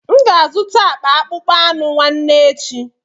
M ga-azụta akpa akpụkpọ anụ nwanne echi.